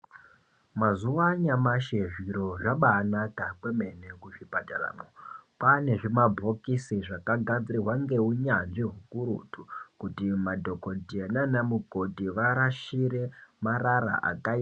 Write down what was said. Mazuwa anyamashi zviro zvabanaka kwemene kuzvipatara. Kwane zvimabhokisi zvakagadzirwa ngeunyanzvi hukurutu kuti madhokodheya naanamukoti varashire marara aka...